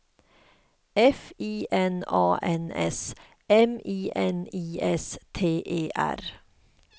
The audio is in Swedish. F I N A N S M I N I S T E R